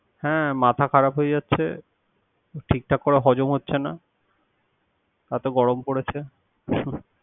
হ্যা মাথা খারাপ হয়ে যাচ্ছে। ঠিক ঠাক করে হজম হচ্ছে না। এত গরম পড়েছে।